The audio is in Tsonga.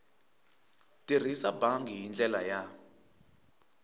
tirhisa bangi hi ndlela ya